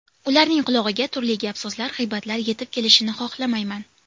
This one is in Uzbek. Ularning qulog‘iga turli gap-so‘zlar, g‘iybatlar yetib kelishini xohlamayman.